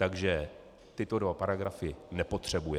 Takže tyto dva paragrafy nepotřebuje.